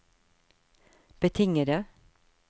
betingede